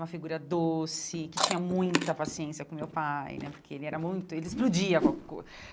Uma figura doce, que tinha muita paciência com o meu pai né, porque ele era muito... ele explodia qualquer coisa.